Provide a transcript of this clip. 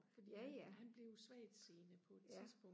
ja ja ja